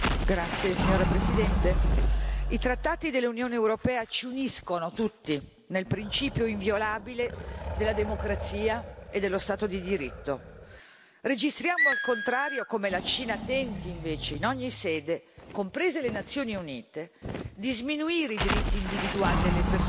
Signora Presidente, onorevoli colleghi, i trattati dell'Unione europea ci uniscono tutti nel principio inviolabile della democrazia e dello Stato di diritto. Registriamo, al contrario, come la Cina tenti invece in ogni sede, comprese le Nazioni Unite, di sminuire i diritti individuali delle persone,